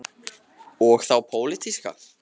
Heimir Már: Og þá pólitíska?